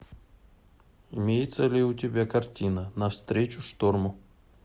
имеется ли у тебя картина навстречу шторму